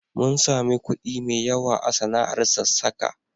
Mun sami kuɗi mai yawa a sana'ar sassaka.